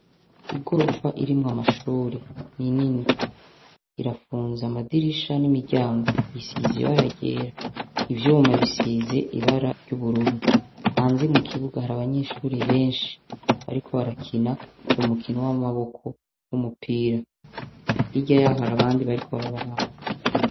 Igorofa irimwo amashure ni nini . Irapfunze amadirisha n' imiryango . Isize ibara ryera .ivyuma bisize ibara ry' ubururu .Hanze mu kibuga hari abanyeshuri benshi barakina umukino w' amaboko w' umupira . Hirya yabo hari abandi bariko barabaraba .